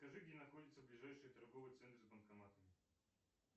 скажи где находится ближайший торговый центр с банкоматами